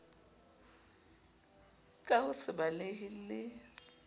ka ho se balehe le